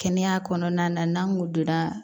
Kɛnɛya kɔnɔna na n'an kun donna